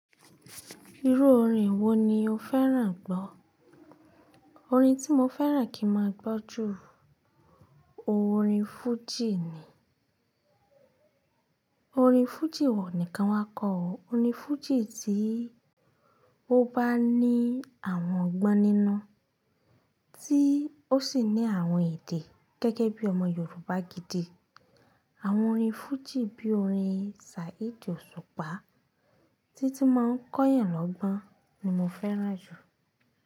Irú orin wo ni o fẹ́ràn gbọ́? Orin tí mo fẹ́ràn kí máa gbọ́ jù, orin fújì ni. Orin fújì ọ̀un nìkan wa kọ. Orin fújì tí ó bá ní àwọn ọgbọ́n nínú, tí ó sì ní àwọn èdè gẹ́gẹ́ bí ọmọ Yorùbá gidi. Àwọn orin fújì bí i orin Saheed Òṣùpá tí tí máa ń kọ́yàn lọ́gbọ́n ni mo fẹ́ràn jù.